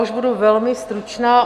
Už budu velmi stručná.